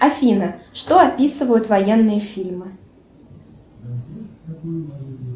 афина что описывают военные фильмы